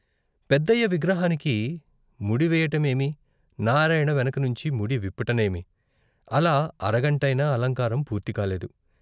పెద్దయ్య విగ్రహానికి ముడి వెయ్యటమేమి, నారాయణ వెనకనుంచి ముడి విప్పటమేమి, అలా అరగంటైనా అలంకారం పూర్తి కాలేదు.